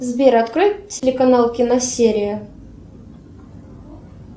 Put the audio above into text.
сбер открой телеканал киносерия